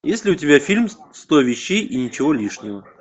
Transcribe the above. есть ли у тебя фильм сто вещей и ничего лишнего